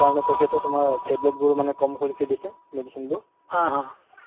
so যিবোৰ ক'ভিডত আক্ৰন্ত হৈ আছে তেওঁলোকক আমি vaccination provide কৰাইছিলো বা quarantine ত থোৱাইছিলো